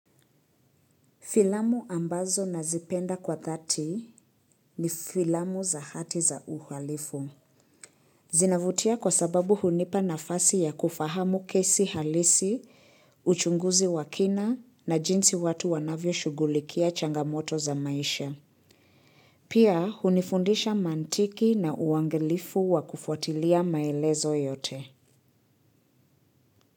Filamu ambazo nazipenda kwa dhati ni filamu za hati za uhalifu. Zinavutia kwa sababu hunipa nafasi ya kufahamu kesi halisi, uchunguzi wa kina na jinsi watu wanavyo shugulikia changamoto za maisha. Pia hunifundisha mantiki na uangalifu wa kufuatilia maelezo yote.